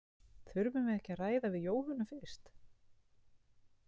Þurfum við ekki að ræða við Jóhönnu fyrst?